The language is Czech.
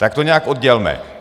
Tak to nějak oddělme.